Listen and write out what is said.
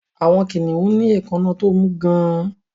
Àwọn kìnnìún ní èékáná tó mú gán-an